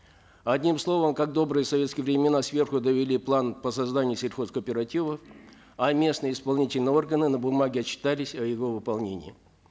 одним словом как в добрые советские времена сверху довели план по созданию сельхозкооперативов а местные исполнительные органы на бумаге отчитались о его выполнении